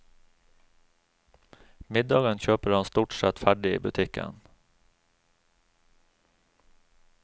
Middagen kjøper han stort sett ferdig i butikken.